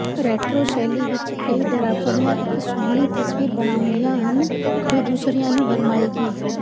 retro ਸ਼ੈਲੀ ਵਿਚ ਕਈ ਡਰਾਪਰੀਆਂ ਇਕ ਸੋਹਣੀ ਤਸਵੀਰ ਬਣਾਉਂਦੀਆਂ ਹਨ ਜੋ ਦੂਸਰਿਆਂ ਨੂੰ ਭਰਮਾਏਗੀ